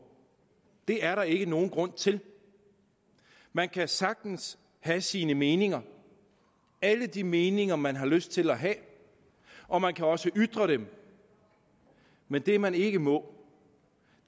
det er der ikke nogen grund til man kan sagtens have sine meninger alle de meninger man har lyst til at have og man kan også ytre dem men det man ikke må